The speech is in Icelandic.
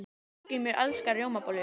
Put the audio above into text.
Hallgrímur elskar rjómabollur.